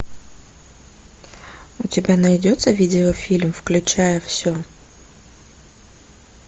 у тебя найдется видеофильм включая все